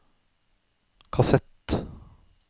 kassett